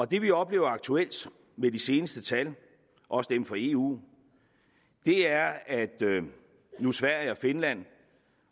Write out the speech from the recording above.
det vi oplever aktuelt med de seneste tal også dem fra eu er at sverige og finland